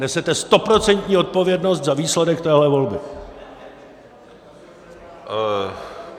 Nesete stoprocentní odpovědnost za výsledek téhle volby!